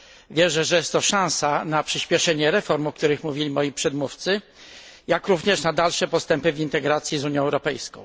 wierzę, że jest to szansa na przyspieszenie reform o których mówili moi przedmówcy jak również na dalsze postępy w integracji z Unią Europejską.